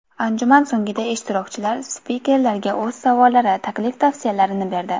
Anjuman so‘ngida ishtirokchilar spikerlarga o‘z savollari, taklif-tavsiyalarini berdi.